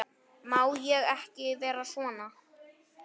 Má ég ekki vera svona?